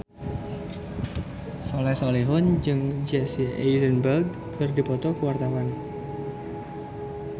Soleh Solihun jeung Jesse Eisenberg keur dipoto ku wartawan